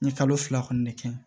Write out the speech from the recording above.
N ye kalo fila kɔni kɛ